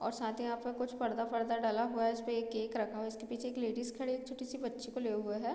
और साथ ही यहाँ पे कुछ पर्दा-फ़र्दा डला हुआ है जिसपे एक केक रखा हुआ है उसके पीछे एक लेडीज खड़ी हुई एक छोटी सी बच्ची को लिए हुए है।